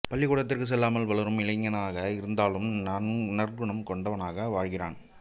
பள்ளிக்கூடத்திற்கு செல்லாமல் வளரும் இளைஞனாக இருந்தாலும் நற்குணம் கொண்டவனாக வாழ்கிறான்